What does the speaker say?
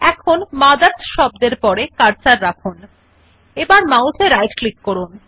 এখন মথার্স শব্দর পরে কার্সার রাখুন এবং মাউস এ রাইট ক্লিক করুন